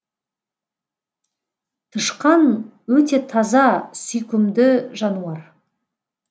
тышқан өте таза сүйкімді жануар